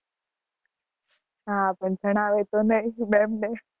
હા, પણ ઘણા